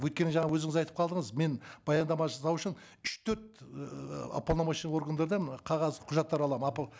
өйткені жаңа өзіңіз айтып қалдыңыз мен баяндама жасау үшін үш төрт ііі уполномоченный органдардан мына қағаз құжаттар аламын